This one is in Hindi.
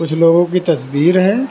कुछ लोगों की तस्वीर है।